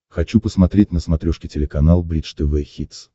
хочу посмотреть на смотрешке телеканал бридж тв хитс